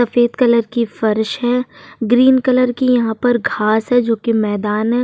सफ़ेद कलर की फर्श है। ग्रीन कलर की यहाँ पर घास है जो की मैदान है।